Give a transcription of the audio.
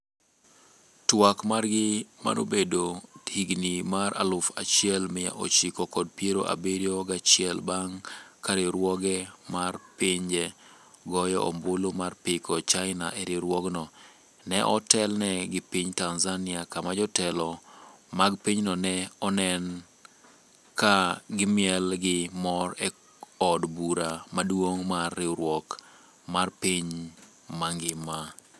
Twak margi mano bedo higa mar aluf achiel mia ochiko kod piero abiriyo gachiel bang' ka riwruoge mar pinje goyo ombulu mar piko China e riwruogno, ne otelne gi piny Tanzania kama jotelo mag pinyno ne onen ka gimiel gi mor e od bura maduong’ mar riwruok mar piny mangima.